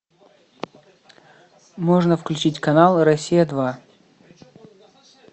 можно включить канал россия два